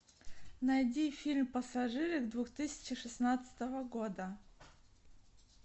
найди фильм пассажиры две тысячи шестнадцатого года